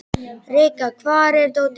Rikka, hvar er dótið mitt?